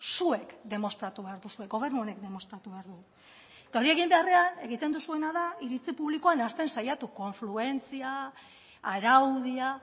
zuek demostratu behar duzue gobernu honek demostratu behar du eta hori egin beharrean egiten duzuena da iritzi publikoa nahasten saiatu konfluentzia araudia